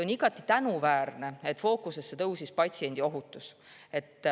On igati tänuväärne, et fookusesse tõusis patsiendi ohutus.